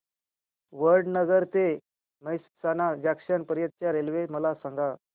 वडनगर ते मेहसाणा जंक्शन पर्यंत च्या रेल्वे मला सांगा